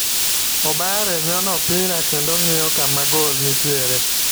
Obare nyono opira kendo ng'iyo kama gol nitiere.